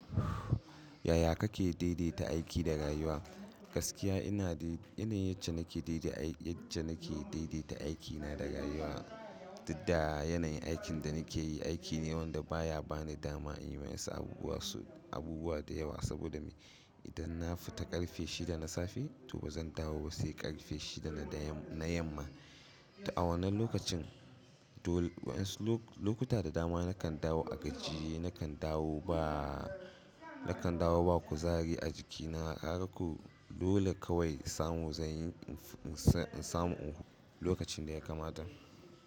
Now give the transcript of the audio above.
Yaya kake daidaita aiki da rayuwa? Gaskiya ina da yanayin yacce daidai daidaita aikina da rayuwa, did da yanayin aikin da nake yi, aiki ne wanda baya bani dama in yi ma su abubuwa da yawa. Saboda me? Idan na fita karfe shida na safe, to bazan dawo ba sai karfe shida na da yamma. A wannan lokacin, wasu lokuta da dama nakan dawo a gajiye, nakan dawo ba nakan dawo ba kuzari a jikina. Kaga kau dole kawai samu zanyi in samu lokacin da ya kamata.